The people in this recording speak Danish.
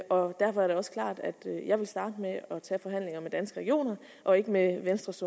og derfor er det også klart at jeg vil starte med at tage forhandlingerne danske regioner og ikke med venstres